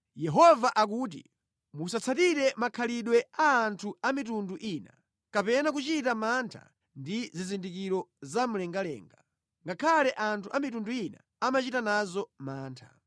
Yehova akuti, “Musatsatire makhalidwe a anthu a mitundu ina kapena kuchita mantha ndi zizindikiro zamlengalenga, ngakhale anthu a mitundu ina amachita nazo mantha.